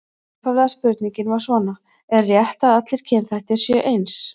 Upphaflega spurningin var svona: Er rétt að allir kynþættir séu eins?